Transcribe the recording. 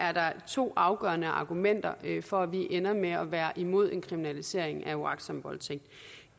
er der to afgørende argumenter for at vi ender med at være imod en kriminalisering af uagtsom voldtægt